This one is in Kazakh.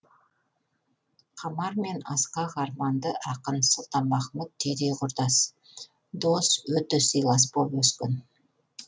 қамар мен асқақ арманды ақын сұлтанмахмұт түйдей құрдас дос өте сыйлас болып өскен